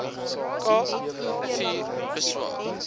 kaap vier bewaar